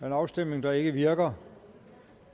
en afstemning der ikke virker